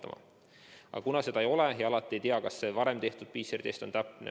Aga seda võimalust ei ole ja alati ei tea, kas varem tehtud PCR-test on täpne.